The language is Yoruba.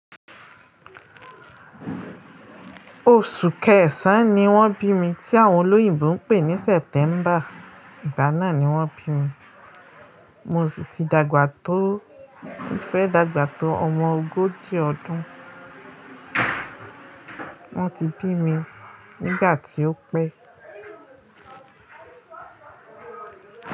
Oṣù kẹsàn-án ni wọ́n bí mi tí àwọn olóyìnbo ń pè ní September. Ìgbà náà ni wọ́n bí mi. Mo sì ti dàgbà tó, mo fẹ́ dàgbà tó ọmọ ogójì ọdún. Wọ́n ti bí mi nígbà tí ó pẹ́